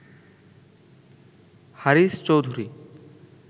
Haris Chowdhury